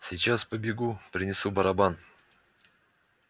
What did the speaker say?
сейчас побегу принесу барабан